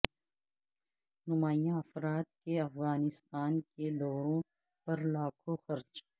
نمایاں افراد کے افغانستان کے دوروں پر لاکھوں خرچ